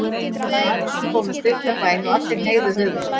Jón Arason fór með stutta bæn og allir hneigðu höfuð sitt.